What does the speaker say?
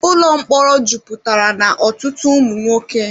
Ụlọ mkpọrọ jupụtara na ọtụtụ ụmụ nwoke.